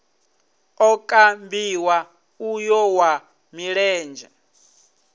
o kambiwa uyo wa milenzhe